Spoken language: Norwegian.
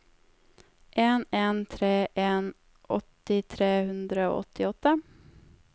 en en tre en åtti tre hundre og åttiåtte